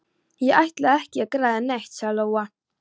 Ég ætlaði ekki að græða neitt, sagði Lóa.